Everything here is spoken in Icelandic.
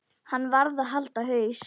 Hann varð að halda haus.